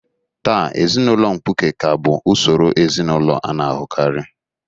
Taa, ezinụlọ mkpuke ka bụ usoro ezinụlọ a na-ahụkarị.